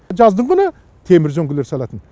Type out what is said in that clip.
жаздыгүні темір үзеңгілер салатын